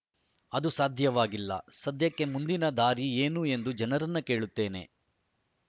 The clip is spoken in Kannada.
ಅದು ಸಾಧ್ಯವಾಗಿಲ್ಲ ಸದ್ಯಕ್ಕೆ ಮುಂದಿನ ದಾರಿ ಏನು ಎಂದು ಜನರನ್ನು ಕೇಳುತ್ತೇನೆ